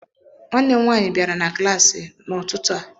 Nwanne m nwaanyị bịara na klaasị m n'ọtụtụ a.